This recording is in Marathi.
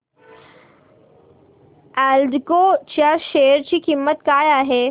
एल्डेको च्या शेअर ची किंमत काय आहे